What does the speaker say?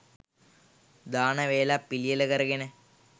දාන වේලක් පිළියෙල කරගෙන